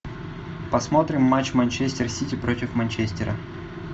посмотрим матч манчестер сити против манчестера